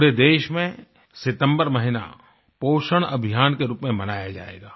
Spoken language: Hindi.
पूरे देश में सितम्बर महीना पोषण अभियान के रूप में मनाया जाएगा